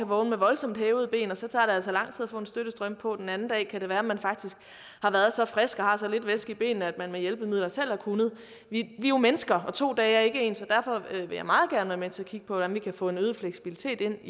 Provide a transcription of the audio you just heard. vågne med voldsomt hævede ben og så tager det altså lang tid at få en støttestrømpe på og den anden dag kan det være at man faktisk har været så frisk og har så lidt væske i benene at man med hjælpemidler selv har kunnet vi er jo mennesker og to dage er ikke ens og derfor vil jeg meget gerne være med til at kigge på hvordan vi kan få en øget fleksibilitet ind